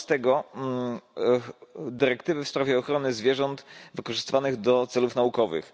13 dyrektywy w sprawie ochrony zwierząt wykorzystywanych do celów naukowych.